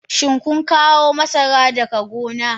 Shin kun kawo masarar daga gona?